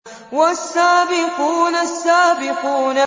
وَالسَّابِقُونَ السَّابِقُونَ